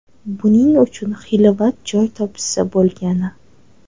Buning uchun xilvat joy topishsa bo‘lgani.